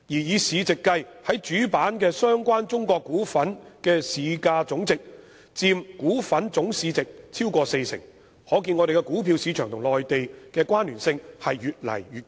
以市值計，在主板的相關中國股份之市價總值佔股份總市值超過四成，由此可見，我們的股票市場與內地的關聯性越來越高。